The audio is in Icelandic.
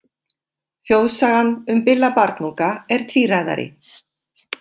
Þjóðsagan um Billa barnunga er tvíræðari.